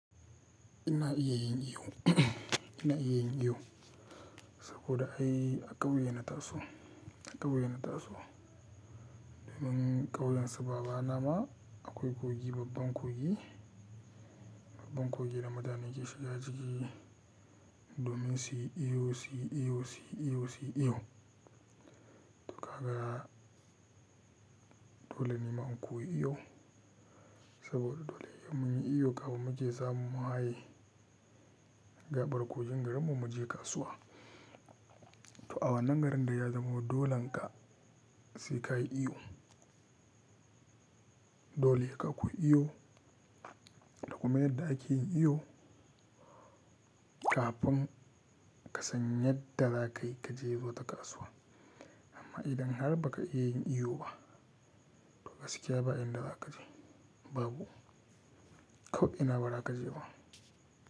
Ina iya yin iyo, ina iya yin iyo saboda ai a ƙauye na taso, a ƙauye na taso. Domin ƙauyen su baba na ma akwai kogi, babban kogi, babban kogi da mutane ke shiga ciki domin su yi iyo, su yi iyo, su yi iyo, su yi iyo. To ka ga dole ne ma in koyi iyo saboda dole ne mun yi iyo kafin mu je zamu haye gaɓar kogin garinmu mu je kasuwa. To awannan garin dai ya zama dolen ka sikayi iyo. Dole ka koyi iyo, da kuma yadda ake yin iyo kafin ka san yadda za ka yi ka je wata kasuwa. Amma idan har ba ka iya yin iyo ba, to gaskiya ba in da za ka je babu. Ko ina ba za ka je ba.